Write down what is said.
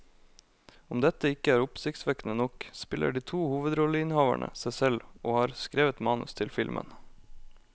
Om dette ikke er oppsiktsvekkende nok, spiller de to hovedrolleinnehaverne seg selv og har skrevet manus til filmen.